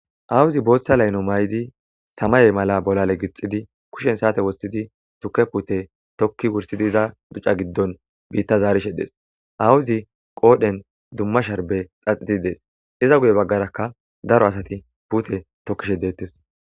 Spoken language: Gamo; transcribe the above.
awuzi booththa layno may7di samaye mala bolale gixidi kushen saate wossidi tuke pute tokki wursidiza duca giddon biitta zaarishe dees awuzi qoodhen dumma sharbe xaxiti dees iza guye baggarakka daro asati pute tokkishe deettes